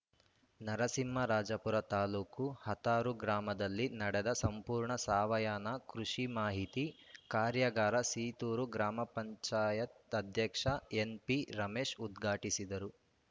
ನರಸಿಂಹರಾಜಪುರ ತಾಲ್ಲೂಕು ಹಾತೂರು ಗ್ರಾಮದಲ್ಲಿ ನಡೆದ ಸಂಪೂರ್ಣ ಸಾವಯವ ಕೃಷಿ ಮಾಹಿತಿ ಕಾರ್ಯಾಗಾರ ಸೀತೂರು ಗ್ರಾಪಂ ಅಧ್ಯಕ್ಷ ಎನ್‌ಪಿರಮೇಶ್‌ ಉದ್ಘಾಟಿಸಿದರು